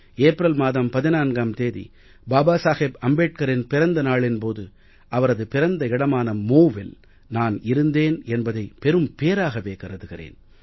April மாதம் 14ம் தேதி பாபா சாஹேப் அம்பேட்கரின் பிறந்த நாளின் போது அவரது பிறந்த இடமான MHOWவில் நான் இருந்தேன் என்பதை பெரும் பேறாகவே கருதுகிறேன்